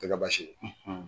A tɛ ka basi ye.